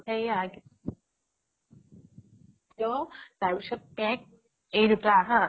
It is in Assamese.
এইয়া তাৰ পিছত mac এই দুটা হা